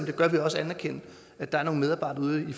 det gør vi også anerkende at der er nogle medarbejdere ude i